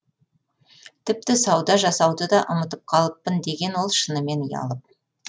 тіпті сауда жасауды да ұмытып қалыппын деген ол шынымен ұялып